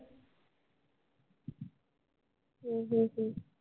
हम्म हम्म हम्म